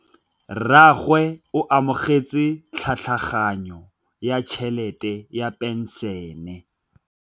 Rragwe o amogetse tlhatlhaganyô ya tšhelête ya phenšene.